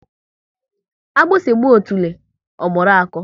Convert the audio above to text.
Agbusi gba otule, ọ mụrụ akọ